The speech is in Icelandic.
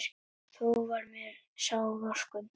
Þó var mér sár vorkunn.